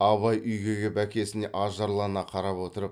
абай үйге кеп әкесіне ажарлана қарап отырып